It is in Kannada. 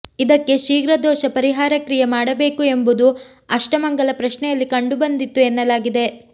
ಇದಕ್ಕೆ ಶ್ರೀಘ್ರ ದೋಷ ಪರಿಹಾರ ಕ್ರಿಯೆ ಮಾಡಬೇಕು ಎಂಬುದು ಆಷ್ಟಮಂಗಲ ಪ್ರಶ್ನೆಯಲ್ಲಿ ಕಂಡುಬಂದಿತ್ತು ಎನ್ನಲಾಗಿದೆ